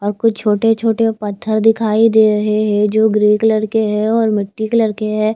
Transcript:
और कुछ छोटे छोटे पत्थर दिखाई देरे हे जो ग्रे कलर के हे और मिटटी कलर के हैं।